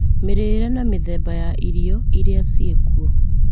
mĩrĩĩre na mĩthemba ya irio ĩrĩa ciĩkuo